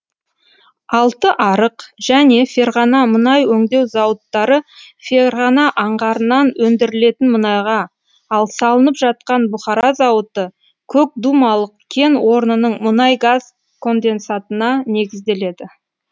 алтыарық және ферғана мұнай өңдеу зауыттары ферғана аңғарынан өндірілетін мұнайға ал салынып жатқан бұхара зауыты көкдумалак кен орнының мұнай газ конденсатына негізделеді